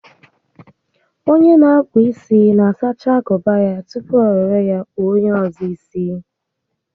Onye n'akpụ isi na-asacha agụba ya tupu o were ya kpụọ onyé ọzọ isi